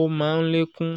ó má ń lékún